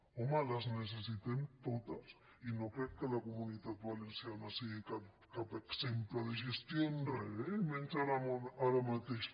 home les necessitem totes i no crec que la comunitat valenciana sigui cap exemple de gestió en re eh i menys ara mateix